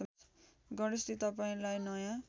गणेशजी तपाईँंलाई नयाँ